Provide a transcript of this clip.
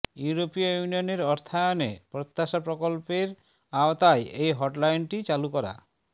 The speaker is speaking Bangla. ইউরোপীয় ইউনিয়নের অর্থায়নে প্রত্যাশা প্রকল্পের আওতায় এ হটলাইনটি চালু করা